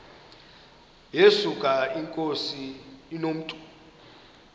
yesuka inkosi inomntu